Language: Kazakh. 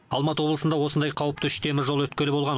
алматы облысында осындай қауіпті үш теміржол өткелі болған